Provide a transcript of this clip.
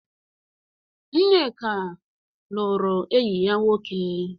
Nneka lụrụ enyi ya nwoke.